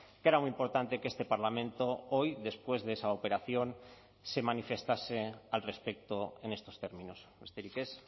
que era muy importante que este parlamento hoy después de esa operación se manifestase al respecto en estos términos besterik ez